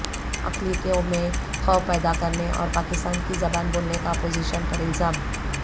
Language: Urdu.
اقلیتوں میں خوف پیدا کرنے اور پاکستان کی زبان بولنے کا اپوزیشن پر الزام